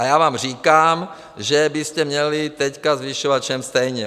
A já vám říkám, že byste měli teď zvyšovat všem stejně.